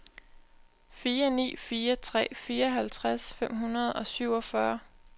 fire ni fire tre fireoghalvtreds fem hundrede og syvogfyrre